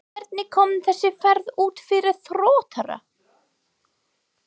Hvernig kom þessi ferð út fyrir Þróttara?